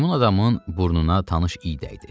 Meymun adamın burnuna tanış iy dəydi.